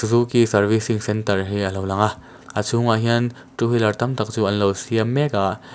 suzuki servicing centre hi a lo lang a a chhungah hian two wheeler tam tak chu an lo siam mek a--